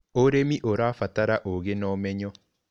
ũrĩmi ũrabatara ugĩ na ũmenyo.